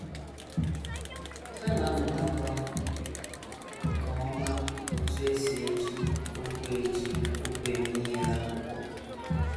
Ha na - amụtakwa nke ọma otú e si eji okwu eji okwu eme ihe n’akwụkwọ.